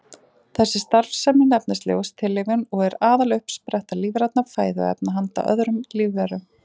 Þessi starfsemi nefnist ljóstillífun og er aðaluppspretta lífrænna fæðuefna handa öðrum lífverum.